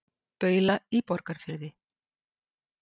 Baula í Borgarfirði.